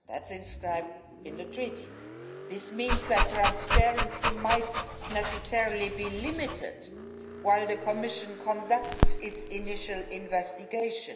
That is inscribed in the Treaty. This means that transparency might necessarily be limited while the Commission conducts its initial investigation.